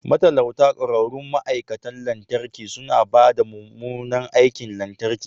Matalauta ƙwararrun ma'aikatan lantarki suna ba da mummunan aikin lantarki